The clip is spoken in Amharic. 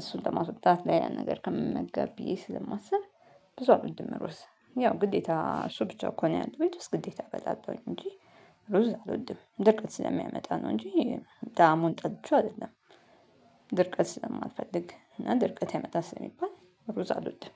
እሱን ተማስቦ ታት ላይ ያን ነገር ከምመገብ ብዬ ስለማስብ። ብዙ አለም ድምሩስ ያው ግዴታ እሱ ብቻ እኮ ነው ያለው የትስ ግዴታ በጣጥተውኝ እንጂ። ሩዝ አልወድም ደቀቅ ስለሚያመጣ ነው እንጂ። ደሃ መሆን ጠልቼ አይደለም። ድርቀት ስለማልፈልግ እና ድርቀት የመጣ ስለሚባል ሩዝ አልወድም።